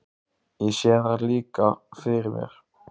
Ég sé þær líka fyrir mér.